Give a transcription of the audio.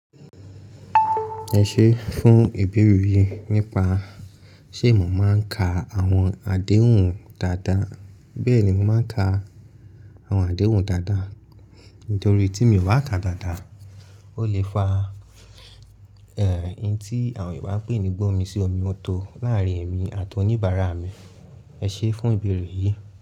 Ẹ ṣé fún ìbèrí yìí nípa ṣé mo máa ń ka àwọn àdéhùn dáadáa. Bẹ́ẹ̀ni, mo máa ń ka àwọn àdéhùn dáadáa torí tí mi ò bá ka dáadáa, ó lè fa ẹ̀, ohun tí àwọn Yorùbá ń pè ní gbómi sí omi ó tó láàárín èmi àti oníbàárà mi. Ẹ ṣé fún ìbèrí yìí.